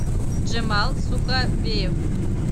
джемал суховеев